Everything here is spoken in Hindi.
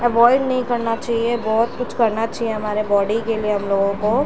अवॉइड नहीं करना चाहिए बहुत कुछ करना चाहिए हमारे बॉडी के लिए हम लोगों को--